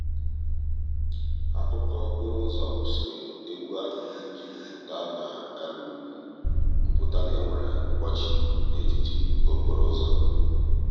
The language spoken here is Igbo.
akụkọ okporo ụzọ kwụsịrị egwu ahụ i ji kwupụta na kwupụta na e nwere mkpọchị n'etiti okporo ụzọ.